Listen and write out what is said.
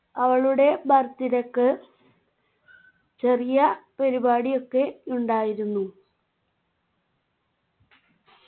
അവളുടെ birthday ക്ക് ചെറിയ പരിപാടിയൊക്കെ ഉണ്ടായിരുന്നു